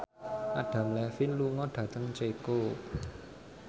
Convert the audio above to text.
Adam Levine lunga dhateng Ceko